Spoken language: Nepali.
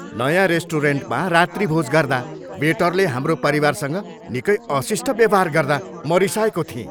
नयाँ रेस्टुरेन्टमा रात्रिभोज गर्दा वेटरले हाम्रो परिवारसँग निकै अशिष्ट व्यवहार गर्दा म रिसाएको थिएँ।